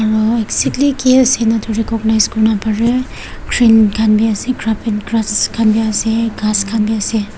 aru recognize kori na pare green khan bhi ase Graf and green khan bhi ase gass khan bhi ase.